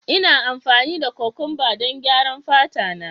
Ina amfani da kokwamba don gyaran fata na